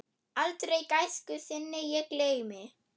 Aldrei gæsku þinni ég gleymi.